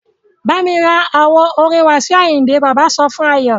Bámi ra àwo orin Wasiu Ayinde! Bàbá sọ fún Ayọ.